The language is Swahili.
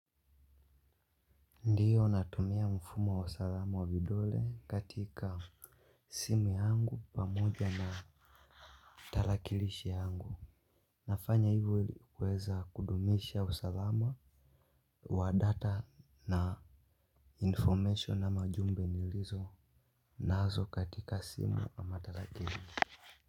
Ndiyo natumia mfumo wa usalama wa vidole katika simu yangu pamoja na tarakilishi yangu. Nafanya hivo ili kuweza kudumisha wa usalama wa data na information na jumbe nilizonazo katika simu ama tarakilishi.